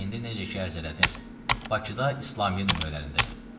İndi necə ki ərz elədim, Bakıda İslamiyyə nömrələrindəyəm.